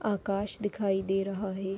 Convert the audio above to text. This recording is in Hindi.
आकाश दिखाई दे रहा है।